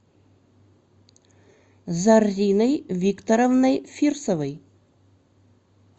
зарриной викторовной фирсовой